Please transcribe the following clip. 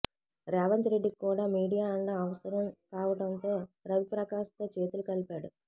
రేవంత్ రెడ్డికి కూడా మీడియా అండ అవసరం కావటంతో రవిప్రకాష్ తో చేతులు కలిపాడు